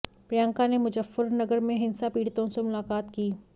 प्रियंका ने मुजफ्फरनगर में हिंसा पीड़ितों से मुलाकात की